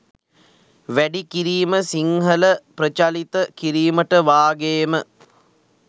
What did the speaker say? වැඩිකිරීම සිංහල ප්‍රචලිත කිරීමට වාගේම